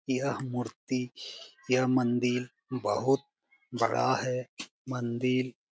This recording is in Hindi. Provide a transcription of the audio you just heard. यह मूर्ति यह मंदिर बहुत बड़ा है। मंदिर--